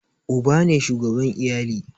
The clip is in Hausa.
Uba ne shugaban iyali